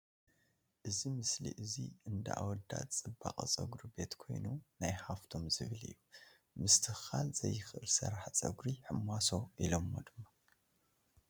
እዚ ምስሊ ኣዙይ እንዳ ኣውዳት ፅባቅው ፀጉሪ ቤት ኮይኑ ናይ ሃፍቶም ዝብሃል እዩ ምስትክካል ዝይኽእል ስራሒ ፀጉሪ ሕማሶ ኢሎሞ ድማ ።